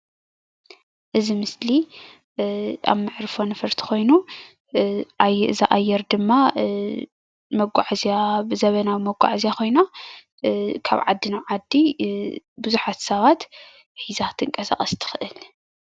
እዚ ምስሊ ኣብ መዕርፎ ነፈርቲ ኮይኑ እዛ ኣየር ድማ መጓዕዝያ ብዘመናዊ መጓዕዝያ ኮይና ካብ ዓዲ ናብ ዓዲ ብዙሓት ሰባት ሒዛ ክትንቀሳቀስ ትክእል::